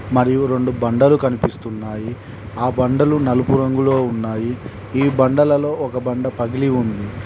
మరియు రెండు బండలు కనిపిస్తున్నాయి ఆ బండలు నలుపు రంగులో ఉన్నాయి ఈ బండలలో ఒక బండ పగిలి ఉంది.